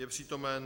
Je přítomen.